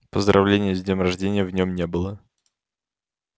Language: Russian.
поздравления с днём рождения в нём не было